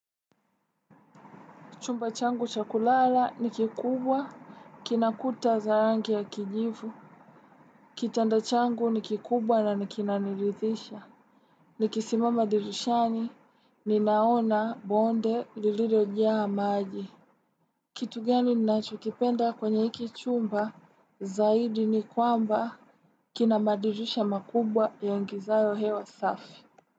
Chumba changu cha kulala ni kikubwa, kina kuta za rangi ya kijivu. Kitanda changu ni kikubwa na ni kinanirithisha. Nikisimama dirishani, ninaona bonde liliriojaa maji. Kitu gani ninachokipenda kwenye hiki chumba, zaidi ni kwamba kina madirisha makubwa yaingizayo hewa safi.